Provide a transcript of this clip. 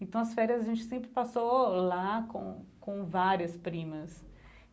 Então, as férias a gente sempre passou lá com com várias primas.